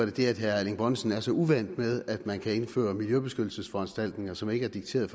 fordi herre erling bonnesen er så uvant med at man kan indføre miljøbeskyttelsesforanstaltninger som ikke er dikteret